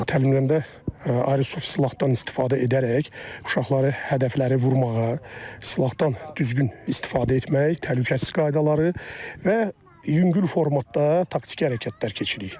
Təlimlərdə ayrı silahdan istifadə edərək uşaqları hədəfləri vurmağa, silahdan düzgün istifadə etmək, təhlükəsizlik qaydaları və yüngül formatda taktiki hərəkətlər keçiririk.